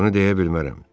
Bunu deyə bilmərəm.